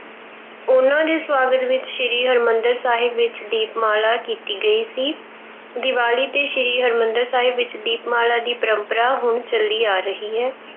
ਉਹਨਾ ਦੇ ਸਵਾਗਤ ਵਿੱਚ ਸ੍ਰੀ ਹਰਮੰਦਿਰ ਸਾਹਿਬ ਵਿੱਚ ਦੀਪਮਾਲਾ ਕੀਤੀ ਗਈ ਸੀ। ਦੀਵਾਲੀ ਤੇ ਸ਼੍ਰੀ ਹਰਮੰਦਿਰ ਸਾਹਿਬ ਵਿੱਚ ਦੀਪਮਾਲਾ ਦੀ ਪਰੰਪਰਾ ਹੁਣ ਚੱਲੀ ਆ ਰਹੀ ਹੈ।